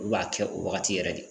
Olu b'a kɛ o wagati yɛrɛ de